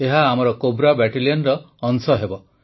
ଏହା ଆମର କୋବ୍ରା ବାଟାଲିୟନର ଅଂଶ ହେବ